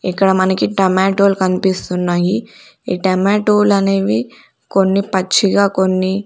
ఇక్కడ మనకి టమోటోలు కన్పిస్తున్నాయి ఈ టమోటోలనేవి కొన్ని పచ్చిగా కొన్ని--